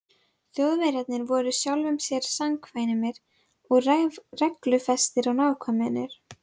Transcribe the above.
Þjóðverjarnir voru sjálfum sér samkvæmir um reglufestu og nákvæmni.